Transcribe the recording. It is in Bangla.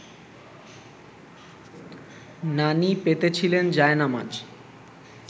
নানি পেতেছিলেন জায়নামাজ